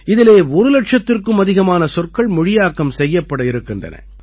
இதிலே ஒரு இலட்சத்திற்கும் அதிகமான சொற்கள் மொழியாக்கம் செய்யப்படவிருக்கின்றன